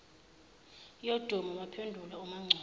yodumo waphendula umangcobo